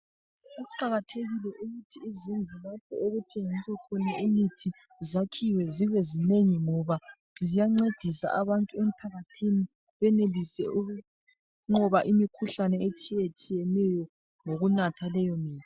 Kuqakathekile ukuthi izindlu lapho okuthengiswa khona imithi zakhiwe zibe zinengi ngoba ziyancedisa abantu emphakathini benelise ukunqoba imikhuhlane etshiyetshiyeneyo ngokunatha leyo mithi.